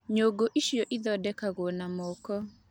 Nyũngũ ici ithondeketwo na moko.